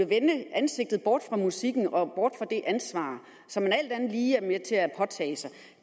vende ansigtet bort fra musikken og bort fra det ansvar som man alt andet lige er med til at påtage sig